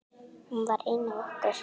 Hún var ein af okkur.